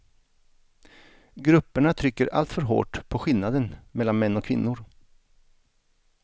Grupperna trycker alltför hårt på skillnaden mellan män och kvinnor.